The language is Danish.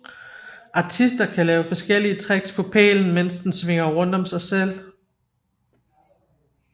Artister kan lave forskellige tricks på pælen mens den svinger rundt om sig selv